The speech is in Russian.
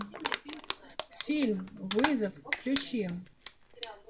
фильм вызов включи